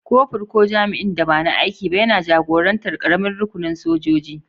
Kofur, ko jami'in da ba na aiki ba, yana jagorantar ƙaramin rukunin sojoji.